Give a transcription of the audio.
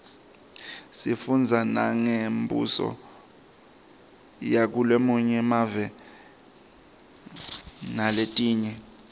sifundza nangembuso yakulamanye emave naletinye